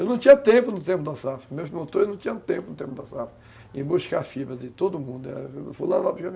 Eu não tinha tempo no tempo da safra, meus motores não tinham tempo no tempo da safra, em buscar fibra de todo mundo